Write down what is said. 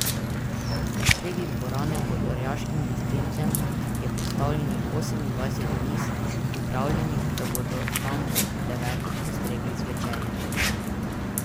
Sredi dvorane, pod orjaškim lestencem, je postavljenih osemindvajset miz, pripravljenih, da bodo tam ob devetih postregli z večerjo.